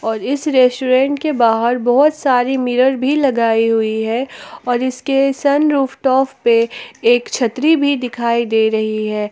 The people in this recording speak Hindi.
और इस रेस्टोरेंट के बाहर बहुत सारी मिरर भी लगी हुई है और इसके सनरूफ टॉप पे एक छतरी भी दिखाई दे रही है।